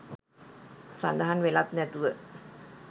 සඳහන් වෙලත් නැතුව